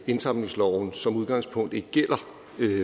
indsamlingsloven som udgangspunkt ikke gælder